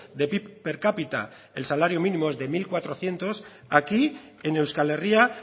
de pib per capita el salario mínimo es de mil cuatrocientos aquí en euskal herria